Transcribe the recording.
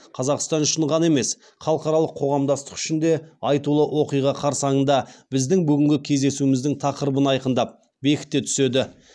қазақстан үшін ғана емес халықаралық қоғамдастық үшін де айтулы оқиға қарсаңында біздің бүгінгі кездесуіміздің тақырыбын айқындап бекіте түседі